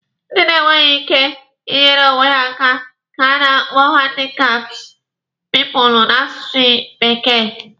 Ndị na-enweghi ike ị nyeere onwe ha aka ka a na-akpọ handikapt piipụlụ n'asụsụ bekee.